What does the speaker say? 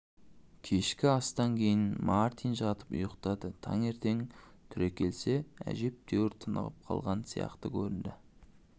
кешкі астан кейін мартин жатып ұйықтады таңертең түрекелсе әжептәуір тынығып қалған сияқты көрінді